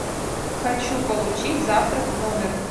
хочу получить завтрак в номер